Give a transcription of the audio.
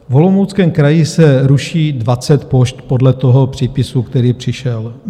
V Olomouckém kraji se ruší 20 pošt podle toho přípisu, který přišel.